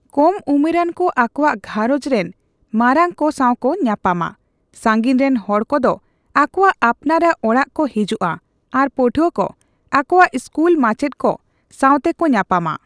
ᱠᱚᱢ ᱩᱢᱮᱨᱟᱱ ᱠᱚ ᱟᱠᱚᱣᱟᱜ ᱜᱷᱟᱸᱨᱚᱡᱽ ᱨᱮᱱ ᱢᱟᱨᱟᱝ ᱠᱚ ᱥᱟᱣᱠᱚ ᱧᱟᱯᱟᱢᱟ, ᱥᱟᱸᱜᱤᱧ ᱨᱮᱱ ᱦᱚᱲ ᱠᱚᱫᱚ ᱟᱠᱚᱣᱟᱜ ᱟᱯᱱᱟᱨᱟᱜ ᱚᱲᱟᱜ ᱠᱚ ᱦᱤᱡᱩᱜᱼᱟ ᱟᱨ ᱯᱟᱹᱴᱷᱩᱣᱟᱹ ᱠᱚ ᱟᱠᱚᱣᱟᱜ ᱤᱥᱠᱩᱞ ᱢᱟᱪᱮᱫ ᱠᱚ ᱥᱟᱣᱛᱮᱠᱚ ᱧᱟᱯᱟᱢᱟ ᱾